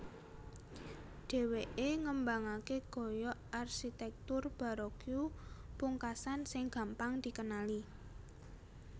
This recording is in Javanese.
Dhèwèké ngembangaké gaya arsitèktur baroque pungkasan sing gampang dikenali